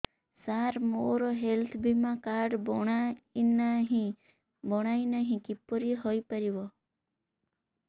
ସାର ମୋର ହେଲ୍ଥ ବୀମା କାର୍ଡ ବଣାଇନାହିଁ କିପରି ହୈ ପାରିବ